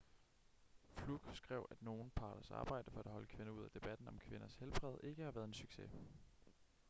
fluke skrev at nogle parters arbejde for at holde kvinder ude af debatten om kvinders helbred ikke har været en succes